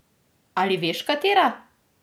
Ali veš, katera?